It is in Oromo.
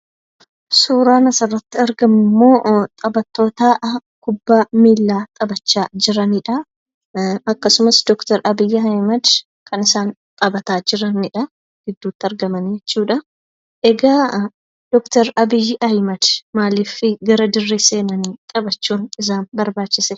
Suuraan asirratti argamu immoo, taphatoota kubbaa miilaa taphachaa jiranidhaa akkasumas Doktor Abiyyi Ahimad kan isaan taphataa jiranidhaa. Gidduutti argamanii jechuudhaa. Egaa Doktor Abiyyi Ahimad maaliif gara dirree seenanii taphachuuf isaan barbaachise?